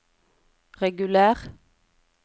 reguler